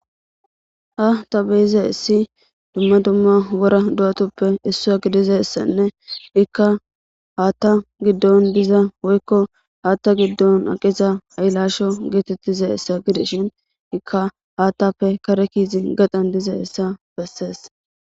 ha ta beyizassi dumma dumma wora du7atuppe issua gidizassanne ikka haatta giddon diza woykko haatta giddon aqiza ayilasho geetettiza essa gideshin ikka haattappe kare kiizi gaxan diza essa bessees